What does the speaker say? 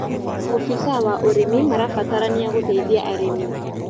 Obĩsa wa ũrĩmĩ marabataranĩa gũteĩthĩa arĩmĩ